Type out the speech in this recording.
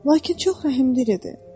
Lakin çox rəhmli idi.